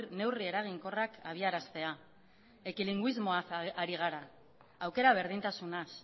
neurri eraginkorrak abiaraztea ekilinguismoaz ari gara aukera berdintasunaz